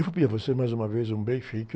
Eu vou pedir a você, mais uma vez, um